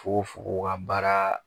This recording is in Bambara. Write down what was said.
Fogofogo ka baara